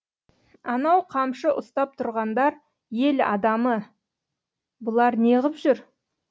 анау қамшы ұстап тұрғандар ел адамы бұлар неғып жүр